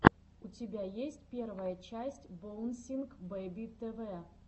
у тебя есть первая часть боунсинг бэби тэ вэ